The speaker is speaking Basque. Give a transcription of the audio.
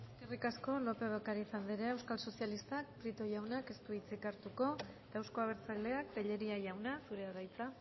eskerrik asko lópez de ocariz andrea euskal sozialistak prieto jaunak ez du hitzik hartuko euzko abertzaleak tellería jauna zurea da hitza